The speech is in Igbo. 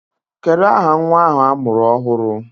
Kedụ aha nwa ahụ a mụrụ ọhụrụ?